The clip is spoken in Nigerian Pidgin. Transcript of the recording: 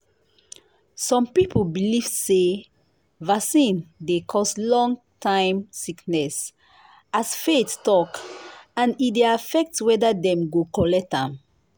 some people believe say vaccine dey cause long-time sickness as faith talk and e dey affect whether dem go collect am.